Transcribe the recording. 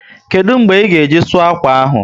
Kedụ mgbe ị ga-eji sụọ akwa ahụ?